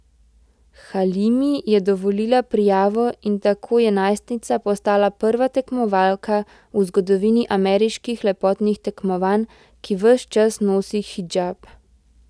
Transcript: Halimi je dovolila prijavo in tako je najstnica postala prva tekmovalka v zgodovini ameriških lepotnih tekmovanj, ki ves čas nosi hidžab.